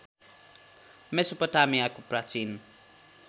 मेसोपोटामियाको प्राचीन